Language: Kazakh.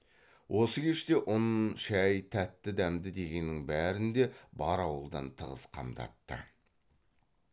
осы кеште ұн шай тәтті дәмді дегеннің бәрін де бар ауылдан тығыз қамдатты